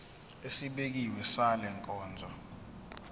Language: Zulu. esibekiwe sale nkonzo